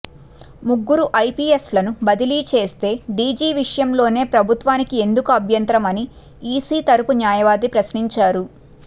ముగ్గురు ఐపీఎస్లను బదిలీ చేస్తే డీజీ విషయంలోనే ప్రభుత్వానికి ఎందుకు అభ్యంతరం అని ఈసీ తరపు న్యాయవాది ప్రశ్నించారు